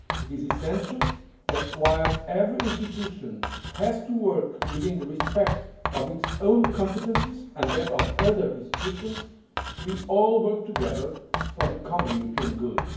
It is essential that, while every institution has to work within the respect of its own competences and that of other institutions, we all work together for the common European good.